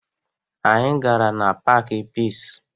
Anyị gara na paakị Piisi